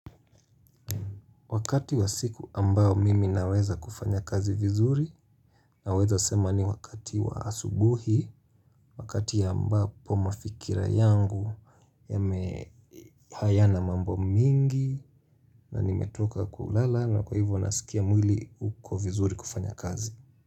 Wakati wa siku ambao mimi naweza kufanya kazi vizuri naweza sema ni wakati wa asubuhi, wakati ambapo mafikira yangu hayana mambo mingi na nimetoka kulala na kwa hivyo nasikia mwili uko vizuri kufanya kazi.